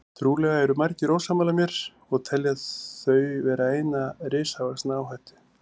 Trúlega eru margir ósammála mér og telja þau vera eina risavaxna áhættu.